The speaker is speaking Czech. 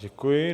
Děkuji.